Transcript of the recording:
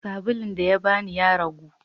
sabulun dayabani yaragu